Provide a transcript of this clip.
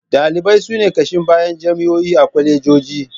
Ɗalibai su ne ƙashin bayan jami'o'i da kwalejoji